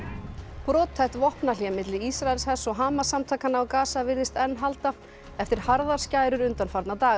brothætt vopnahlé milli Ísraelshers og Hamas samtakanna á virðist enn halda eftir harðar skærur undanfarna daga